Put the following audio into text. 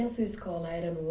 E a sua escola era no